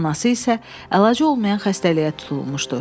Anası isə əlacı olmayan xəstəliyə tutulmuşdu.